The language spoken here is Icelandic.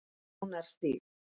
Ránarstíg